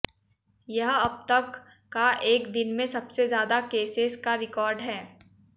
यह अब तक का एक दिन में सबसे ज़्यादा केसेज़ का रिकार्ड है